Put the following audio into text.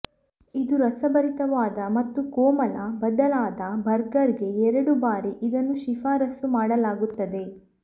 ಇದು ರಸಭರಿತವಾದ ಮತ್ತು ಕೋಮಲ ಬದಲಾದ ಬರ್ಗರ್ ಗೆ ಎರಡು ಬಾರಿ ಇದನ್ನು ಶಿಫಾರಸು ಮಾಡಲಾಗುತ್ತದೆ